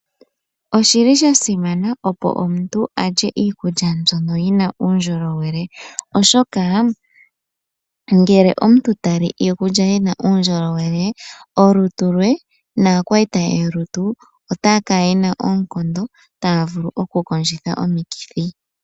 Oshili sha simana opo omuntu a lye iikulya mbyono yina uundjolowele oshoka ngele omuntu tali iikulya yina uundjolowele olutu lwe naakwaita ye yolutu otaa kala yena oonkondo taa vulu oku kondjitha omikithi.